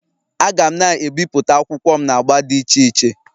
Aga'm na-ebipụta akwụkwọ m na agba dị iche iche